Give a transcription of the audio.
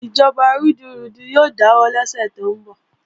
Ìjọba rúdurùdu yóò dáwọ́ lọ́sẹ̀ tó ń bọ̀